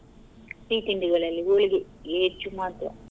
ಸಿಹಿ ತಿಂಡಿಗಳಲ್ಲಿ ಹೋಳಿಗೆ ಹೆಚ್ಚು ಮಾತ್ರ.